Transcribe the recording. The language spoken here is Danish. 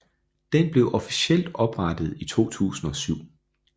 Den blev officielt oprettet i 2007